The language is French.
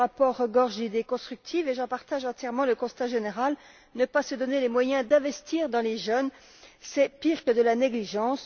Ce rapport regorge d'idées constructives et j'en partage entièrement le constat général ne pas se donner les moyens d'investir dans les jeunes, c'est pire que de la négligence.